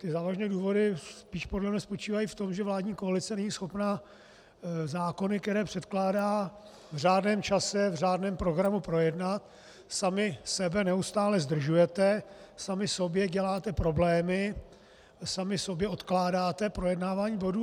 Ty závažné důvody spíš podle mne spočívají v tom, že vládní koalice není schopna zákony, které předkládá, v řádném čase, v řádném programu projednat, sami sebe neustále zdržujete, sami sobě děláte problémy, sami sobě odkládáte projednávání bodů.